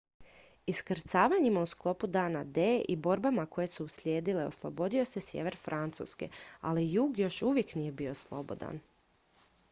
iskrcavanjima u sklopu dana d i borbama koje su uslijedile oslobodio se sjever francuske ali jug još uvijek nije bio slobodan